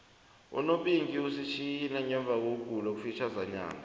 unopinki usitjhiye ngemvakokugula okufitjhazana